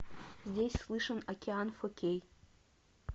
здесь слышен океан фо кей